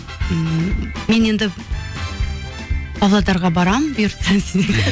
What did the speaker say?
м мен енді павлодарға барамын бұйыртса